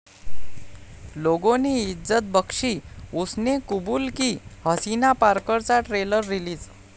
'लोगों ने इज्जत बख्शी, उसने कुबूल की!' 'हसीना पारकर'चा ट्रेलर रिलीज